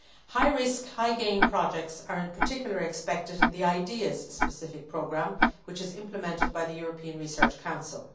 High risk, high gain projects are, in particular, expected in the IDEAS specific programme, which is implemented by the European Research Council.